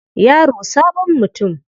Yaro sabon mutum.